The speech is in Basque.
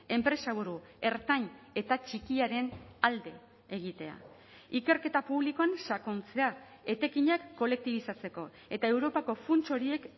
enpresaburu ertain eta txikiaren alde egitea ikerketa publikoan sakontzea etekinak kolektibizatzeko eta europako funts horiek